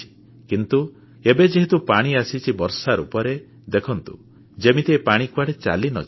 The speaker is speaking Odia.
କିନ୍ତୁ ଏବେ ଯେହେତୁ ପାଣି ଆସିଛି ବର୍ଷା ରୂପରେ ଦେଖନ୍ତୁ ଯେମିତି ଏ ପାଣି କୁଆଡ଼େ ଚାଲିନଯାଏ